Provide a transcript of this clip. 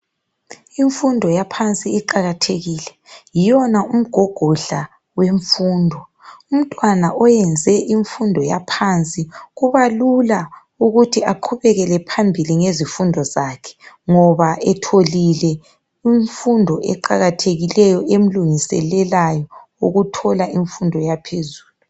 Imfundo yaphansi iqakathekile, yiyona umgogodla wemfundo. Umntwana oyenze imfundo yaphansi kubalula ukuthi aqhubekele phambili ngezifundo zakhe ngoba etholile imfundo eqakathekileyo emlungiselelayo ukuthola imfundo yaphezulu.